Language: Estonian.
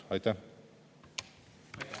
Aitäh!